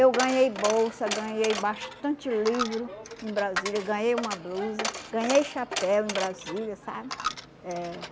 Eu ganhei bolsa, ganhei bastante livro em Brasília, ganhei uma blusa, ganhei chapéu em Brasília, sabe? Eh